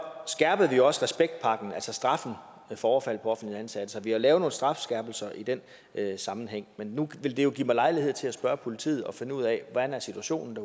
skærpede vi også respektpakken altså straffen for overfald på offentligt ansatte så vi har lavet nogle strafskærpelser i den sammenhæng men nu vil det jo give mig lejlighed til at spørge politiet og finde ud af hvordan situationen